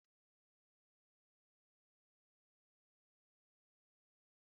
Zụta Ị̀ndómị́ e nwere agba ndụ ndụ